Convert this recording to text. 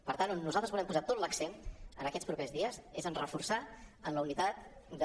per tant on nosaltres volem posar tot l’accent en aquests propers dies és en reforçar la unitat de